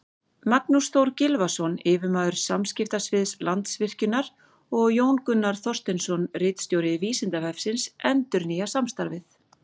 Magnús Þór Gylfason, yfirmaður samskiptasviðs Landsvirkjunar, og Jón Gunnar Þorsteinsson, ritstjóri Vísindavefsins, endurnýja samstarfið.